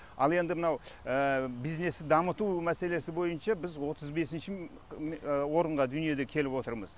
ал енді мынау бизнесті дамыту мәселесі бойынша біз отыз бесінші орынға дүниеде келіп отырмыз